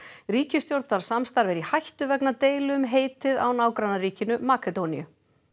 ríkisstjórnarsamstarf er í hættu vegna deilu um heitið á nágrannaríkinu Makedóníu